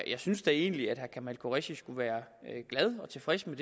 jeg synes da egentlig at herre kamal qureshi skulle være glad og tilfreds med